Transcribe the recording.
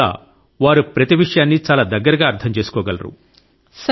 అందువల్ల వారు ప్రతి విషయాన్నీ చాలా దగ్గరగా అర్థం చేసుకోగలరు